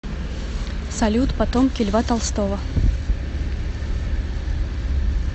салют потомки льва толстого